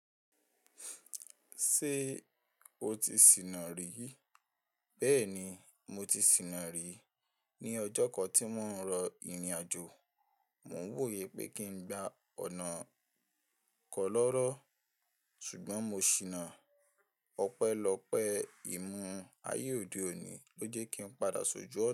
Ṣé o ti sìnà rí? Bẹ́ẹ̀ni, mo ti sìnà rí. Ni ọjọ́ kan tí mò ń lọ ìrìnàjò, mò ń wòye pé kí n gba ọ̀nà kọ́lọ́rọ́. Ṣùgbọ́n mo ṣìnà ọpẹ́lọpẹ́. Ìmú ayé òde òní ló jẹ́ kí n padà ṣojú ọ̀na.